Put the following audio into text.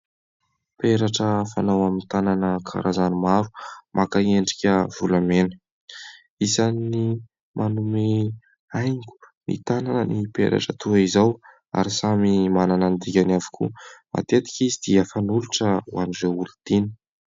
Peratra fatao amin'ny tanana karazany maro, maka endrika volamena. Isany manome haingo ny tanana ny peratra toy izao ary samy manana ny dikany avokoa. Matetika izy dia fanolotra an'ireo olon-tiana.